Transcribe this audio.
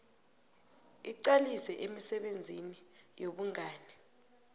iqalise emisebenzini yobungani